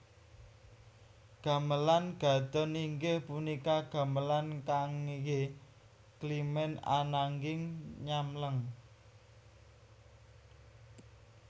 Gamelan Gadhon inggih punika gamelan kanggé climèn ananging nyamleng